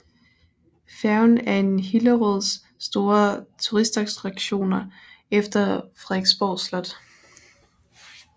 Færgen er en Hillerøds store turistattraktioner efter Frederiksborg Slot